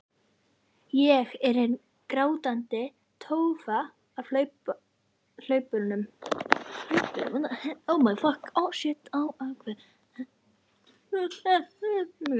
Ég er hin grátandi tófa á hlaupunum.